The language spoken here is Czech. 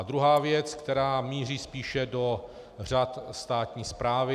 A druhá věc, která míří spíše do řad státní správy.